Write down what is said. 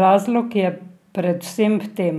Razlog je predvsem v tem,